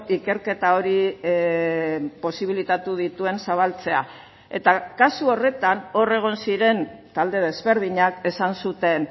ikerketa hori posibilitatu dituen zabaltzea eta kasu horretan hor egon ziren talde desberdinak esan zuten